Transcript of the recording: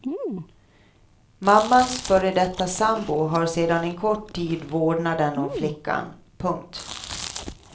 Mammans före detta sambo har sedan en kort tid vårdnaden om flickan. punkt